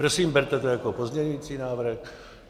Prosím, berte to jako pozměňující návrh.